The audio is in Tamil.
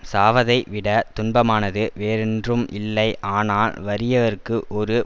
சாவதை விட துன்பமானது வேறென்றும் இல்லை ஆனால் வறியவர்க்கு ஒரு